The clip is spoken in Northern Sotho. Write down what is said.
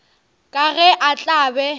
ka ge a tla be